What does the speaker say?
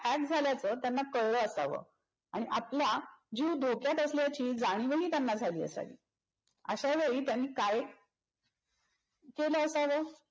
hack झाल्याच त्यांना कळल असाव आणि आपला जीव धोक्यात असल्याची जाणीवही त्यांना झाली असावी. अशावेळी त्यांनी काय केल असाव